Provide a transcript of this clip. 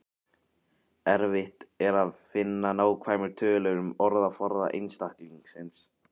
Erfitt er að finna nákvæmar tölur um orðaforða einstaklingsins.